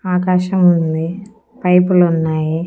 ఆకాశం ఉంది పైపులు ఉన్నాయి.